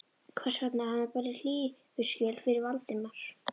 Hvers vegna hafði hann borið hlífiskjöld fyrir Valdimar?